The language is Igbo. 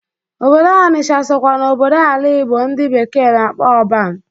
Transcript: Obodo Ọnịsha sokwa na obodo ala Igbo ndị bekee na-akpọ ọban.